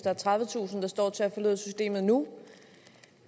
er tredivetusind der står til at ud af systemet nu